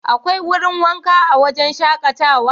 Akwai wurin wanka a wajen shakatawa?